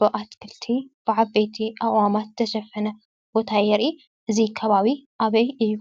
በኣትክልቲ ብዓበይቲ ኣቁዋማት ዝተሸፈነ ቦታ የርኢ። እዚ ከባቢ ኣበይ እዩ?